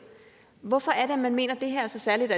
hvorfor er det at man mener at det her er så særligt